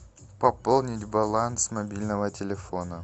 пополнить баланс мобильного телефона